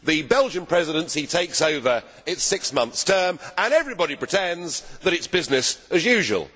The Belgian Presidency takes over its six month term and everybody pretends that it is business as usual!